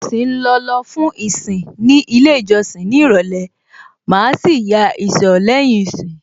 Mo ṣì ń lọ lọ fún ìsìn ní ilé ìjọsìn ní ìrọ̀lẹ́, màá sì ya ìsọ̀ lẹ́yìn ìsìn.